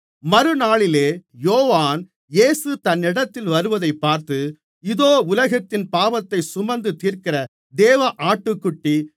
மறுநாளிலே யோவான் இயேசு தன்னிடத்தில் வருவதைப் பார்த்து இதோ உலகத்தின் பாவத்தைச் சுமந்து தீர்க்கிற தேவ ஆட்டுக்குட்டி